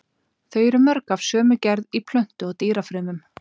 Þau eru mörg af sömu gerð í plöntu- og dýrafrumum.